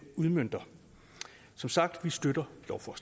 udmønter som sagt støtter